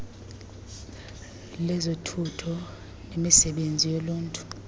lezothutho nemisebenzi yoluntu